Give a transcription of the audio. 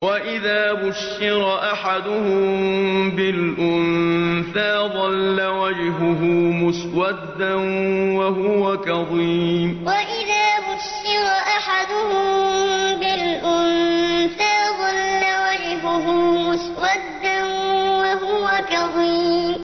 وَإِذَا بُشِّرَ أَحَدُهُم بِالْأُنثَىٰ ظَلَّ وَجْهُهُ مُسْوَدًّا وَهُوَ كَظِيمٌ وَإِذَا بُشِّرَ أَحَدُهُم بِالْأُنثَىٰ ظَلَّ وَجْهُهُ مُسْوَدًّا وَهُوَ كَظِيمٌ